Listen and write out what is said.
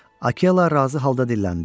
Akela razı halda dilləndi.